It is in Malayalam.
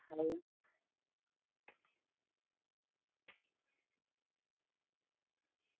അഹ്